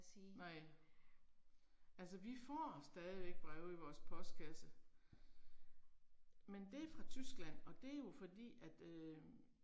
Nej. Altså vi får stadigvæk breve i vores postkasse. Men det er fra Tyskland, og det er jo fordi at øh